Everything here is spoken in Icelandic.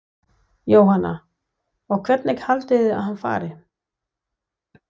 Jóhanna: Og hvernig haldið þið að hann fari?